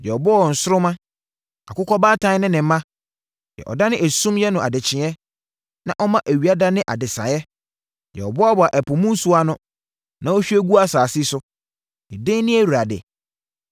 Deɛ ɔbɔɔ nsoromma, Akokɔbaatan ne ne mma, deɛ ɔdane esum yɛ no adekyeeɛ na ɔma awia dane adesaeɛ. Deɛ ɔboaboa ɛpo mu nsuo ano na ɔhwie gu asase so, ne din ne Awurade.